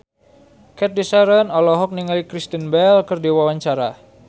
Cathy Sharon olohok ningali Kristen Bell keur diwawancara